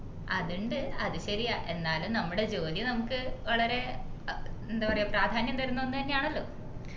അതിണ്ടു അത് ശരിയാ എന്നാലും നമ്മളെ ജോലി നമുക്ക് വളരെ ഏർ എന്താ പറയുവാ പ്രാധാന്യം തരുന്ന ഒന്ന് തന്നെയാണല്ലോ